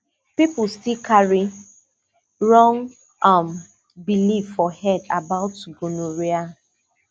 people still carry wrong um belief for head about gonorrhea